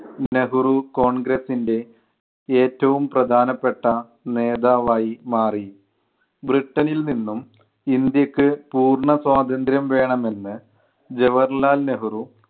നെഹ്‌റു കോൺഗ്രസ്സിൻ്റെ ഏറ്റവും പ്രധാനപ്പെട്ട നേതാവായി മാറി. ബ്രിട്ടണിൽ നിന്നും ഇന്ത്യക്ക് പൂർണ്ണസ്വാതന്ത്ര്യം വേണമെന്ന് ജവഹർലാൽ നെഹ്‌റു